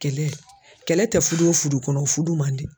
Kɛlɛ kɛlɛ tɛ fudu o fudu kɔnɔ o fudu man di.